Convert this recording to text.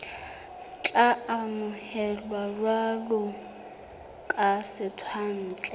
tla amohelwa jwalo ka setswantle